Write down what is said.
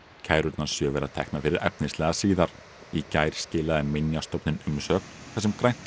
kærurnar sjö verða teknar fyrir efnislega síðar í gær skilaði Minjastofnun umsögn þar sem grænt